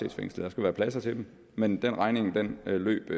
i fængsel der skal være pladser til dem men den regning løb